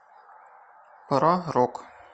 про рок